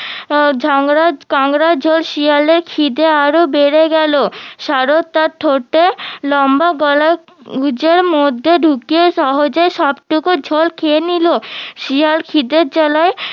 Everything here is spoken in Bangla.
আহ কাংড়ার ঝোল শিয়ালের খিদে আরো বেড়ে গেলো সারস তার ঠোঁটে লম্বা গলায় মধ্যে ঢুকিয়ে সহজেই সবটুকু ঝোল খেয়ে নিলো শিয়াল খিদের জ্বালায়